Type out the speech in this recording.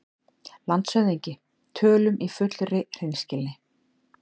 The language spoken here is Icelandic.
LANDSHÖFÐINGI: Tölum í fullri hreinskilni